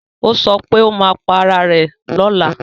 ọ so wípé ó má pá Àrà rẹ̀ lọla.